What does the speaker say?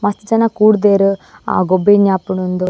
ಮಸ್ತ್ ಜನ ಕೂಡ್ದೆರ್ ಆ ಗೊಬ್ಬು ಏನ ಆಪುಂಡ್ ಇಂದ್.